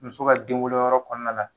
Muso ka den wolo yɔrɔ kɔnɔna na